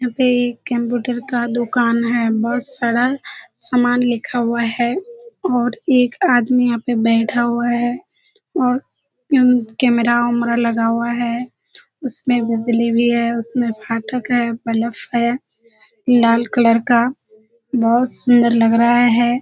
यहाँ पे एक कम्‍प्‍यूटर का दुकान है। बहुत सारा सामान लिखा हुआ है और एक आदमी यहाँ पे बैठा हुआ है और कैमरा उमरा लगा हुआ है। उसमें बिजली भी है। उसमे फाटक है बल्‍ब है लाल कलर का। बहुत सुन्‍दर लग रहा है।